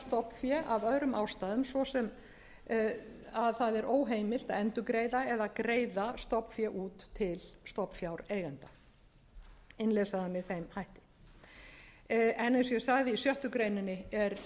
stofnfé af öðrum ástæðum svo sem að það er óheimilt að endurgreiða eða greiða stofnfé út til stofnfjáreigenda innleysa það með þeim hætti en eins og ég